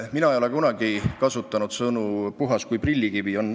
Mina ei ole kunagi kasutanud sõnu "puhas kui prillikivi".